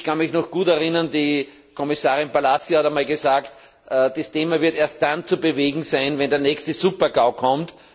Ich kann mich noch gut erinnern, die Kommissarin Palacio hat einmal gesagt, das Thema wird erst dann zu bewegen sein, wenn der nächste Supergau kommt.